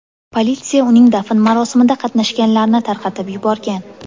Politsiya uning dafn marosimida qatnashganlarni tarqatib yuborgan.